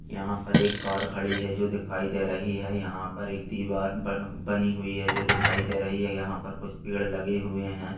यहाँ पर एक कार खड़ी है जो दिखाई दे रही है। यहाँ पर एक दीवार ब बनी हुई है जो दिखाई दे रही है यहाँ पर कुछ पेड़ लगे हुए हैं।